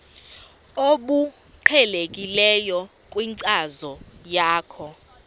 obuqhelekileyo kwinkcazo yakho